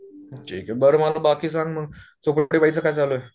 ठिके, बाकी सांग मग चोपडे बाईच काय चालूये ?